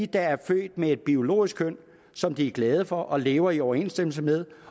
der er født med et biologisk køn som de er glade for og lever i overensstemmelse med